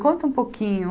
Conta um pouquinho.